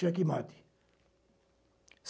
Checkmate.